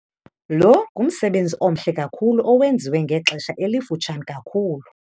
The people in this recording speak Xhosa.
Lo ngumsebenzi omhle kakhulu owenziwe ngexesha elifutshane kakhulu.